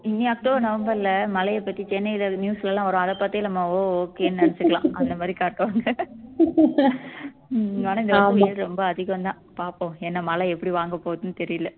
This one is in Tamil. இனி அக்டோபர் நவம்பர்ல மழையை பத்தி சென்னையில news லலாம் வரும் அதை பார்த்தே நம்ம ஓ okay ன்னு நினைச்சுக்கலாம் அந்த மாதிரி காட்டுவாங்க ரொம்ப அதிகம் தான் பாப்போம் ஏன்னா மலை எப்படி வாங்கப் போகுதுன்னு தெரியலே